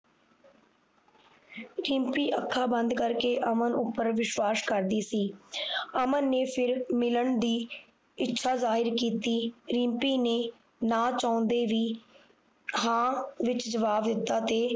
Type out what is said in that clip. ਰਿਮਪੀ ਅੱਖਾਂ ਬੰਦ ਕਰਕੇ ਅਮਨ ਉਪਰ ਵਿਸ਼ਵਾਸ਼ ਕਰਦੀ ਸੀ ਅਮਨ ਨੇ ਫੇਰ ਮਿਲਣ ਦੀ ਇੱਛਾ ਜਾਹਿਰ ਕੀਤੀ ਰਿਮਪੀ ਨੇ ਨਾ ਚਾਹੁੰਦੇ ਵੀ ਹਾਂ ਵਿਚ ਜਵਾਬ ਦਿੱਤਾ ਤੇ